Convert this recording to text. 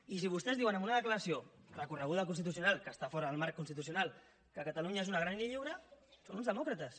i si vostès diuen en una declaració recorreguda al constitucional que està fora del marc constitucional que catalunya és una gran i lliure són uns demòcrates